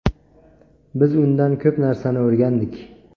Biz undan ko‘p narsani o‘rgandik.